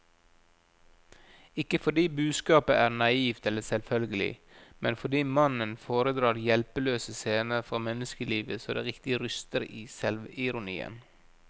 Ikke fordi budskapet er naivt eller selvfølgelig, men fordi mannen foredrar hjelpeløse scener fra menneskelivet så det riktig ryster i selvironien.